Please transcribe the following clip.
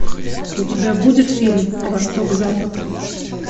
у тебя будет фильм восток запад